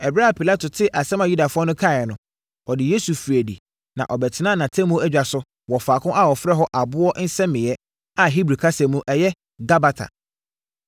Ɛberɛ a Pilato tee asɛm a Yudafoɔ no kaeɛ no, ɔde Yesu firii adi na ɔbɛtenaa nʼatemmuo adwa so wɔ faako a wɔfrɛ hɔ Aboɔ Nsɛmeeɛ, a Hebri kasa mu, ɛyɛ “Gabata.”